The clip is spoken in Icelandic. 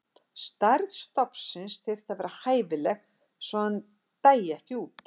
Stærð stofnsins þyrfti að vera hæfileg svo að hann dæi ekki út.